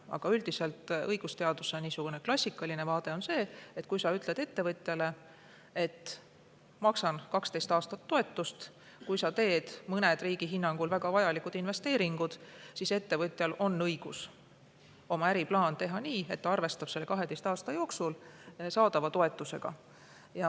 Aga üldiselt on õigusteaduse klassikaline vaade see, et kui sa ütled ettevõtjale, et talle makstakse 12 aastat toetust, kui ta teeb mõned riigi hinnangul väga vajalikud investeeringud, siis ettevõtjal on õigus oma äriplaan teha nii, et ta arvestab selle 12 aasta jooksul saadava toetusega.